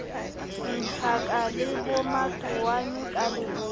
tjhaka le bomatowane ka leboya